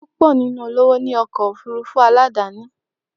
Pupọ ninu awọn eniyan to lọwọ ni awọn ọkọ ofurufu aladani.